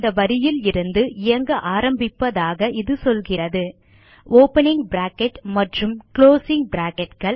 இந்த வரியில் இருந்து இயங்க ஆரம்பிப்பதாக இது சொல்கிறது ஓப்பனிங் பிராக்கெட் மற்றும் குளோசிங் bracketகள்